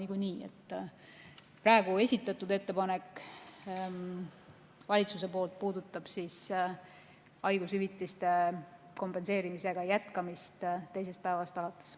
Praegu valitsuse poolt esitatud ettepanek puudutab haigushüvitiste kompenseerimise jätkamist teisest päevast alates.